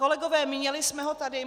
Kolegové, měli jsme ho tady.